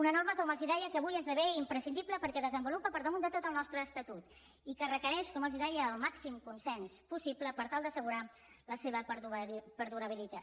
una norma com els deia que avui esdevé imprescindible perquè desenvolupa per damunt de tot el nostre estatut i que requereix com els deia el màxim consens possible per tal d’assegurar la seva perdurabilitat